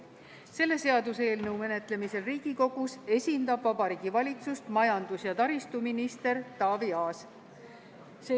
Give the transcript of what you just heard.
Selle seaduseelnõu menetlemisel Riigikogus esindab Vabariigi Valitsust majandus- ja taristuminister Taavi Aas.